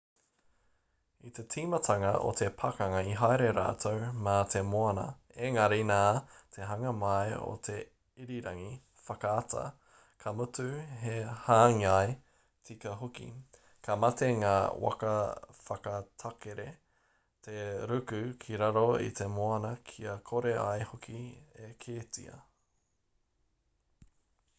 i te tīmatanga o te pakanga i haere rātou mā te moana engari nā te hanga mai o te irirangi whakaata ka mutu he hāngai tika hoki ka mate ngā waka whakatakere te ruku ki raro i te moana kia kore ai hoki e kitea